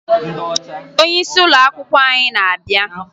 Onyeisi ụlọakwụkwọ anyị na-abịa